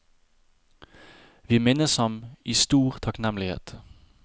Vi minnes ham i stor takknemlighet.